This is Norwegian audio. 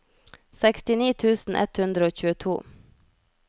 sekstini tusen ett hundre og tjueto